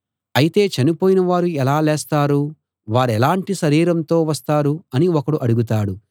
అయితే చనిపోయిన వారు ఎలా లేస్తారు వారెలాటి శరీరంతో వస్తారు అని ఒకడు అడుగుతాడు